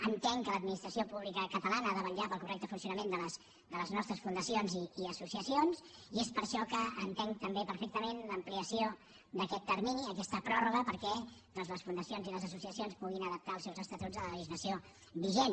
entenc que l’administració pública catalana ha de vetllar pel correcte funcionament de les nostres fundacions i asso·ciacions i és per això que entenc també perfectament l’ampliació d’aquest termini aquesta pròrroga perquè doncs les fundacions i les associacions puguin adaptar els seus estatuts a la legislació vigent